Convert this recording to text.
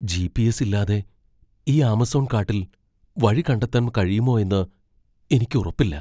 GPS. ഇല്ലാതെ ഈ Amazon കാട്ടിൽ വഴി കണ്ടെത്താൻ കഴിയുമോ എന്ന് എനിക്ക് ഉറപ്പില്ല.